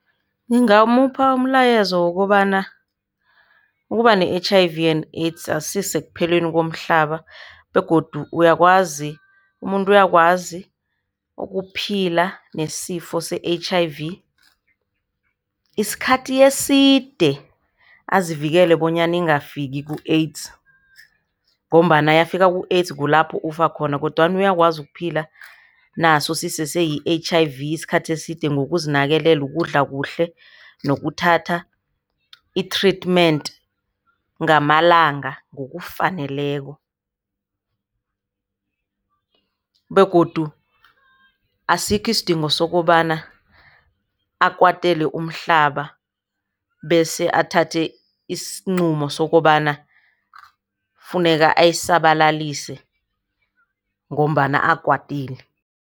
Ngingamupha umlayezo wokobana ukuba ne-H_I_V and AIDS akusisekupheleni komhlaba begodu uyakwazi, umuntu uyakwazi ukuphila nesifo se-H_I_V isikhathi eside. Azivikele bonyana ingafiki ku-AIDS ngombana yafika ku-AIDS kulapho ufa khona kodwana uyakwazi ukuphila naso sisese yi-H_I_V isikhathi eside ngokuzinakekela, ukudla kuhle nokuthatha i-treatment ngamalanga ngokufaneleko. Begodu asikho isidingo sokobana akwatele umhlaba, bese athathe isinqumo sokobana kufuneka ayisabalalise ngombana akwatile.